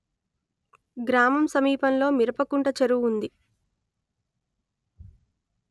గ్రామం సమీపంలో మిరపకుంట చెరువు ఉంది